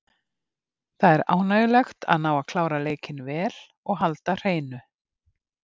Það er ánægjulegt að ná að klára leikinn vel og halda hreinu.